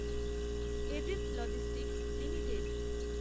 aegis logistics limited